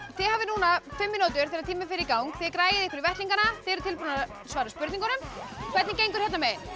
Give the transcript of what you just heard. þið hafið núna fimm mínútur þegar tíminn fer í gang þið græið ykkur í vettlingana þið eruð tilbúnar að svara spurningunum hvernig gengur hérna megin